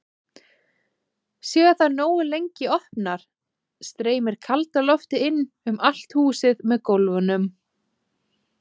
Séu þær nógu lengi opnar streymir kalda loftið inn um allt húsið með gólfunum.